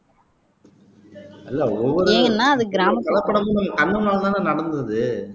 இல்ல ஒவ்வொரு கலப்படமும் உங்க கண்ணு முன்னால தான நடந்தது